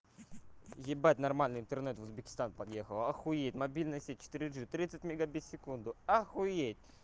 ебать нормальный интернет в узбекистан подъехала охуеть мобильная сеть четыре джи тридцать мегабит в секунду охуеть